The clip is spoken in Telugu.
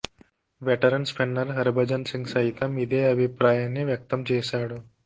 వెటరన్ స్పిన్నర్ హర్భజన్ సింగ్ సైతం ఇదే అభిప్రాయాన్ని వ్యక్తం చేశాడు